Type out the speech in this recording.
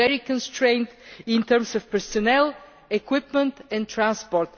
We are very constrained in terms of personnel, equipment and transport.